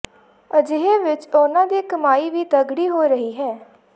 ਅਜਿਹੇ ਵਿੱਚ ਉਨ੍ਹਾਂ ਦੀ ਕਮਾਈ ਵੀ ਤਗੜੀ ਹੋ ਰਹੀ ਹੈ